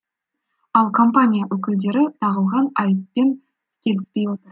ал компания өкілдері тағылған айыппен келіспей отыр